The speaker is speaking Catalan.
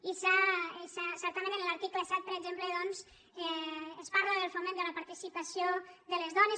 i certament en l’article set per exemple doncs es parla del foment de la partici·pació de les dones